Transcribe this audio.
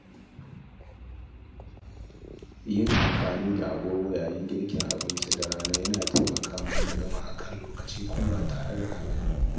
Yin amfani da agogo yayin girka abincin dare yana taimaka min na gama a kan lokaci kuma ba tare da na gaji ba.